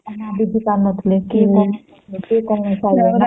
ବୁଝି ପାରୁ ନଥିଲେ କେଏ କଣ କରୁଛି